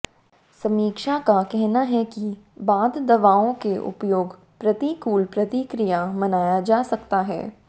समीक्षा का कहना है कि बाद दवाओं के उपयोग प्रतिकूल प्रतिक्रिया मनाया जा सकता है